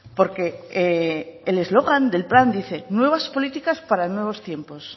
porque el eslogan del plan dice nuevas políticas para nuevos tiempos